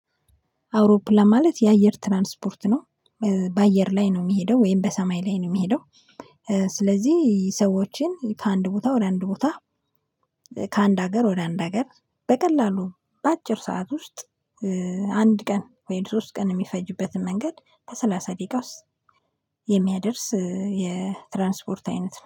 አውሮፕላ ማለት የአየር ትራንስፖርት ነው። በአየር ላይ ነው የሚሄደው ወይም በሰማይ ላይ ነው የሚሄደው ስለዚህ ሰዎችን ከአንድ ቦታ ወደ አንድ ቦታ ከአንድ ሀገር ወደ አንድ ሀገር በቀላሉ በአጭር ሰዓት ውስጥ አንድ ቀን ወይም ሶስት ቀን የሚፈጅበትን መንገድ በሰላሳ ደቂቃ ውስጥ የሚያደርስ የትራንስፖርት አይነት ነው።